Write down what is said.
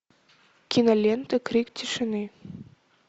кинолента крик тишины